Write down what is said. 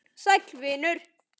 Sæll venur!